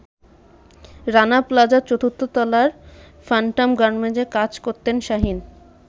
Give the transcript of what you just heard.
রানা প্লাজার ৪র্থ তলায় ফ্যান্টম গার্মেন্টসে কাজ করতেন শাহীন।